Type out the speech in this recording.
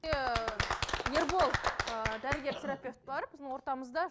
ербол ыыы дәрігер терапевт бар біздің ортамызда